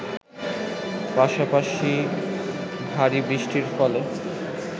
পাশাপাশি ভারী বৃষ্টির ফলে